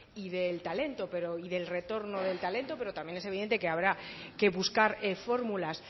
y del talento y del retorno del talento pero también es evidente que habrá que buscar fórmulas